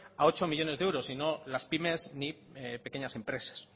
a ocho millónes de euros y no las pymes ni pequeñas empresas